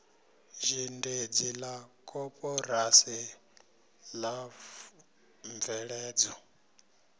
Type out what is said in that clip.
zhendedzi la koporasi la mveledzo